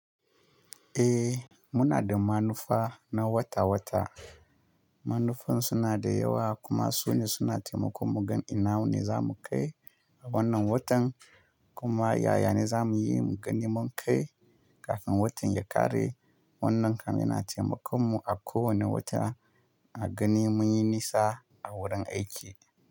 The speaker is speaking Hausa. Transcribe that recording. Eh muna da manufa na wata-wata. Manufan suna da yawa kuma sune suna taimakon mu gan ina ne za mu kai wannan watan kuma yaya ne za mu yi mu gani mun kai kafin watan ya ƙare. Wannan kam yana taimakon mu a kowane wata a gani mun yi nisa a wurin aiki.